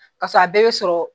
Ka sɔrɔ a bɛɛ be sɔrɔ